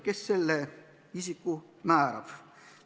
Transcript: Kes selle isiku määrab?